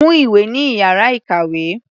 Mú ìwé ní ìyára ìkàwé.